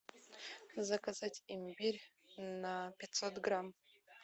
заказать имбирь на пятьсот грамм